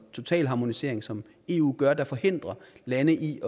totalharmonisering som eu gør der forhindrer lande i